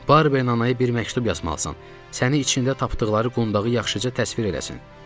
Barberin anaya bir məktub yazmalısan səni içində tapdıqları qundağı yaxşıca təsvir eləsin.